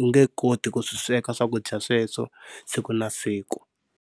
u nge koti ku swi sweka swakudya sweswo siku na siku.